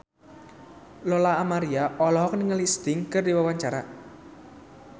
Lola Amaria olohok ningali Sting keur diwawancara